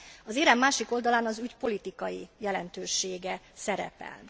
Az érem másik oldalán az ügy politikai jelentősége szerepel.